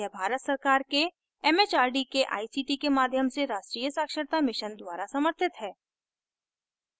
यह भारत सरकार के it it आर डी के आई सी टी के माध्यम से राष्ट्रीय साक्षरता mission द्वारा समर्थित है